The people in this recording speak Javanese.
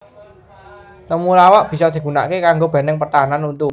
Temulawak bisa digunakaké kanggo bèntèng pertahanan untu